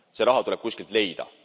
See raha tuleb kuskilt leida.